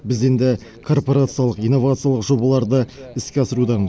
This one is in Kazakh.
біз енді корпорациялық инновациялық жобаларды іске асырудамыз